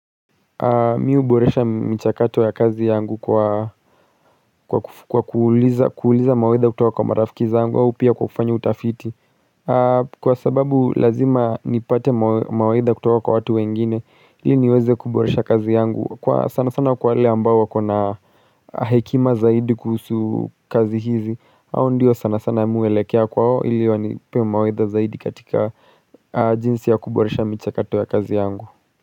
Mi huboresha michakato ya kazi yangu kwa kwa kuuliza mawaidha kutoka kwa marafiki zangu au pia kwa kufanya utafiti. Kwa sababu lazima nipate mawaidha kutoka kwa watu wengine ili niweze kuboresha kazi yangu. Kwa sana sana kwa wale ambao wakona hekima zaidi kuhusu kazi hizi hao ndio sana sana mi huelekea kwao ili wanipee maidh zaidi katika jinsi ya kuboresha michakato ya kazi yangu.